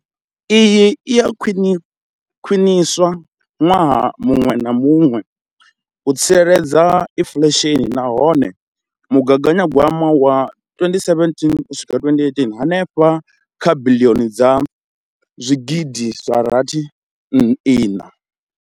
Iyi i a khwiniswa ṅwaha muṅwe na muṅwe u tsireledza inflesheni nahone mugaganyagwama wa 2017 uswika 2018 u henefha kha biḽioni dza zwigidi zwa rathi fumi iṋa.